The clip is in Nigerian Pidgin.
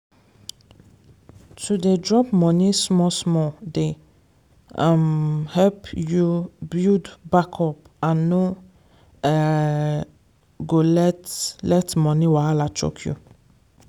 to dey drop money small-small dey um help you build backup and no um go let let money wahala choke you.